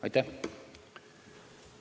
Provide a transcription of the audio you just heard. Aitäh!